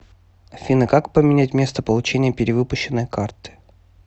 афина как поменять место получения перевыпущенной карты